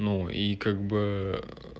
ну и как бы